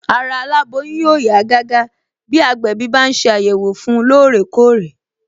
Ara aláboyún yóò yá gágá bí agbẹ̀bí bá ń ṣe àyẹ̀wò fun lóòrè kóòrè